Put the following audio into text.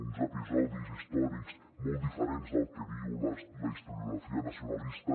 uns episodis històrics molt diferents del que diu la historiografia nacionalista